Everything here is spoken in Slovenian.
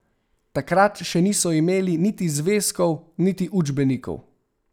Takrat še niso imeli niti zvezkov niti učbenikov.